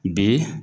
Bi